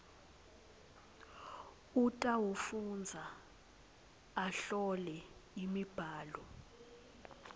utawufundza ahlole imibhalo